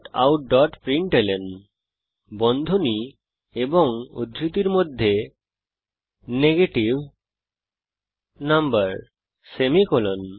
systemoutপ্রিন্টলন বন্ধনী এবং উদ্ধৃতির মধ্যে নেগেটিভ নাম্বার সেমিকোলন